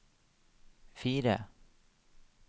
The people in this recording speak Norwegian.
fire